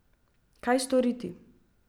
Kaj storiti.